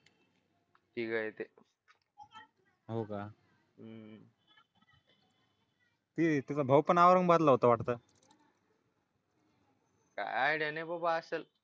तिघ आहे ते हो का हम्म तिचा भाऊ पण औरंगाबादला होता वाटतं काय आयडिया बाबा असं